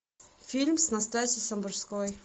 фильм с настасьей самбурской